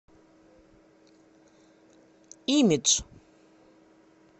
имидж